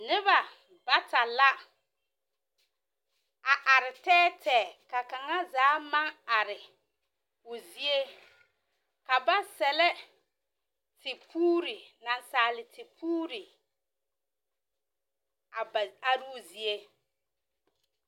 Noba bata la a are tԑԑ tԑԑ ka kaŋa zaa maŋ are o zie. Ka ba sԑllԑ tepuuri nansaale tepuuri a ba aroozie.